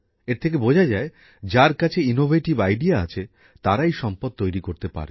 এর থেকে বোঝা যায় যার কাছে উদ্ভাবনী শক্তি আছে তিনিই সম্পদ তৈরি করতে পারেন